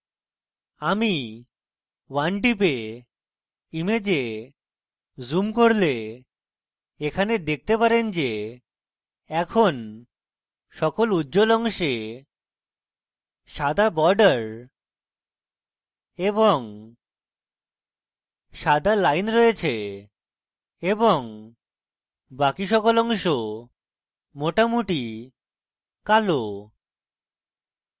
আমি 1 টিপে image zoom করলে এখানে দেখতে পারেন যে এখন সকল উজ্জ্বল অংশে সাদা border এবং সাদা line রয়েছে এবং বাকি সকল অংশ মোটামুটি কালো